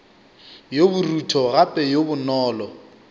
yo borutho gape yo bonolo